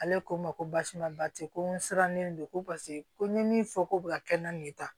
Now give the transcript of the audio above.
Ale ko n ma ko basi ma bate ko n sirannen don ko paseke ko n ye min fɔ ko bɛ ka kɛnɛ na nin ta